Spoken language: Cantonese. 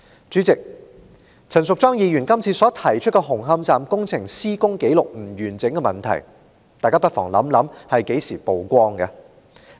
主席，大家不妨回憶，陳淑莊議員今次所提出紅磡站工程施工紀錄不完整的問題是何時曝光的？